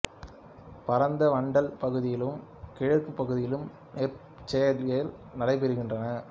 பரந்த வண்டல் பகுதிகளிலும் கிழக்கு பகுதியிலும் நெற் பயிர்ச்செய்கை நடைப்பெறுகின்றது